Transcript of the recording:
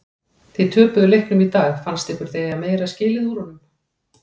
Þið töpuðu leiknum í dag fannst ykkur þið eiga meira skilið úr honum?